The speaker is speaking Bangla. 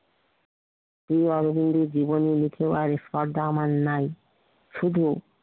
জীবনের লিখিবার স্পরধা আমার নাই শুধু